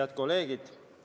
Head kolleegid!